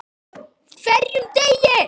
HVERJUM DEGI!